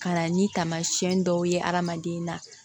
Ka na ni taamasiyɛn dɔw ye adamaden na